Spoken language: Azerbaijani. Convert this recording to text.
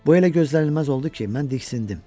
Bu elə gözlənilməz oldu ki, mən diksindim.